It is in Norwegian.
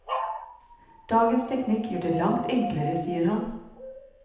Dagens teknikk gjør det langt enklere, sier han.